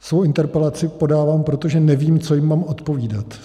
Svoji interpelaci podávám, protože nevím, co jim mám odpovídat.